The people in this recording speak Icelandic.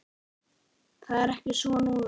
Það er ekki svo núna.